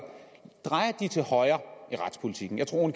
drejer de til højre i retspolitikken jeg tror